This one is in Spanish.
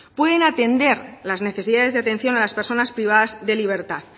pueden atender las necesidades de atención a las personas privadas de libertad